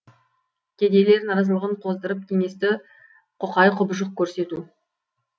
кедейлер наразылығын қоздырып кеңесті құқай құбыжық көрсету